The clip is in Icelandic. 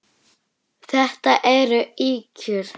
Þetta eru ýkjur!